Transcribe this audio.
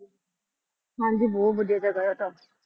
ਹਾਂਜੀ ਬਹੁਤ ਵਧੀਆ ਜਗ੍ਹਾ ਉਹ ਤਾਂ।